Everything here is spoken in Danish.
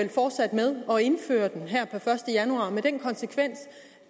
og indføre den her per første januar med den konsekvens